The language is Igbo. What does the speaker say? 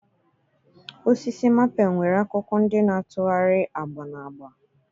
Osisi maple nwere akwụkwọ ndị na-atụgharị agba na agba